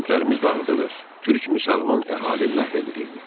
Kəndlərimiz dağıdılır, türk müsəlman əhali məhv edilirdi.